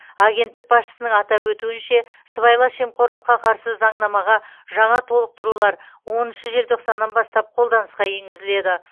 агенттік басшысының атап өтуінше сыбайлас жемқорлыққа қарсы заңнамаға жаңа толықтырулар оныншы желтоқсаннан бастап қолданысқа енгізіледі